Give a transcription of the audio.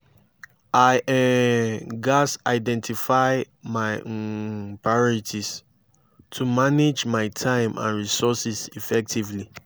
i um gats identify my um priorities to manage my time and resources effectively.